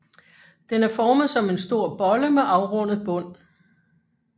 Den er formet som en stor bolle med afrundet bund